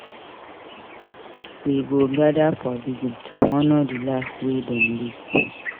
We go gather for vigil to honor di life wey dem live.